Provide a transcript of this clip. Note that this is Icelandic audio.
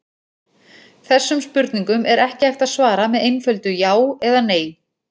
Þessum spurningum er ekki hægt að svara með einföldu já eða nei.